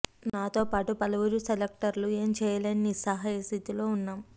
నాతో పాటు పలువురు సెలెక్టర్లు ఏం చేయలేని నిస్సహాయ స్థితిలో ఉన్నాం